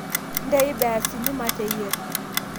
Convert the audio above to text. Ntei beasini mateyir